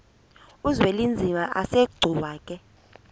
uzwelinzima asegcuwa ke